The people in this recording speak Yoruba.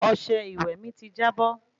Ọsẹ ìwé mí tí jábọ́